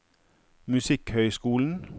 musikkhøyskolen